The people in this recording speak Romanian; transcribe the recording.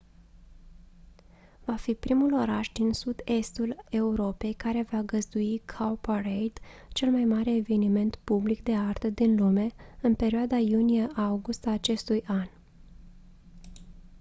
va fi primul oraș din sud-estul europei care va găzdui cowparade cel mai mare eveniment public de artă din lume în perioada iunie august a acestui an